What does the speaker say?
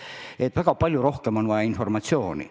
On vaja väga palju rohkem informatsiooni.